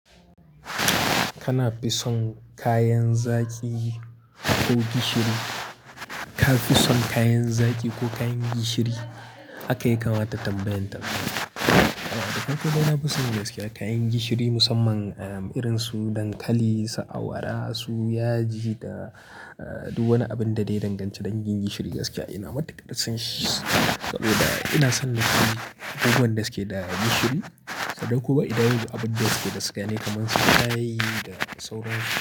Kana fi son kayan zaki? Ko gishiri, ka fi son kayan zaki ko kayan gishiri? Haka ya kamata tabbayan tazo. Da farko dai na fi son gaskiya kayan gishiri musamman, um, irin su dankali, su awara, su yaji da, uh, duk wani abin da dai ya danganci dangin gishiri gaskiya ina matuƙar son shi. Saboda ina son lashi abubuwan da suke da gishiri, sannan kuma idan yanzu abun da suke da sugar ne kamar su shayi da sauransu.